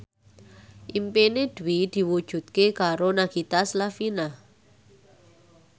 impine Dwi diwujudke karo Nagita Slavina